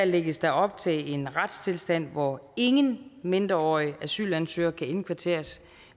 lægges der op til en retstilstand hvor ingen mindreårige asylansøgere kan indkvarteres